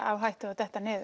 á hættu að detta niður